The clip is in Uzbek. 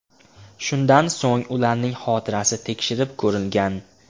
Shundan so‘ng ularning xotirasi tekshirib ko‘rilgan.